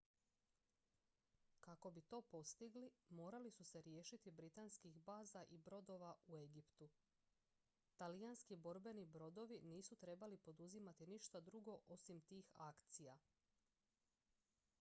kako bi to postigli morali su se riješiti britanskih baza i brodova u egiptu talijanski borbeni brodovi nisu trebali poduzimati ništa drugo osim tih akcija